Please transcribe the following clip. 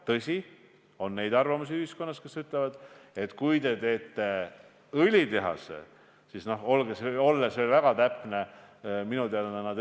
Tõsi, ühiskonnas on neid, kes ütlevad, et kui te teete õlitehase, siis see on nn poolrafineerimistehas ja selle toodang ei ole veel lõpp-produkt.